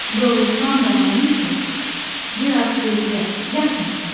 Yorulsan da mənim tək, biraz gözlə, yatma sən.